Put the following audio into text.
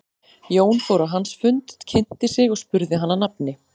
Jón fór á hans fund, kynnti sig og spurði hann að nafni.